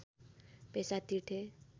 पैसा तिर्थे